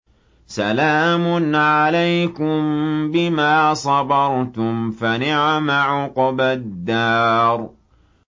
سَلَامٌ عَلَيْكُم بِمَا صَبَرْتُمْ ۚ فَنِعْمَ عُقْبَى الدَّارِ